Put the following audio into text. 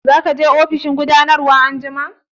Za ka je ofishin gudanarwa anjima?